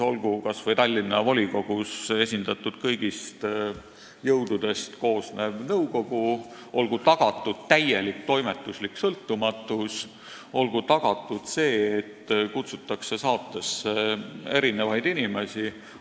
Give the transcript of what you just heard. Olgu kas või Tallinna volikogus esindatud kõigist jõududest koosnev nõukogu, olgu tagatud täielik toimetuslik sõltumatus, olgu tagatud see, et kutsutakse saatesse erinevaid inimesi.